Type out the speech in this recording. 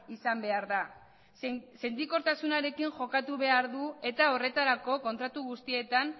izan behar da sentikortasunarekin jokatu behar du eta horretarako kontratu guztietan